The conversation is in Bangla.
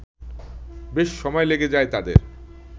বেশ সময় লেগে যায় তাদের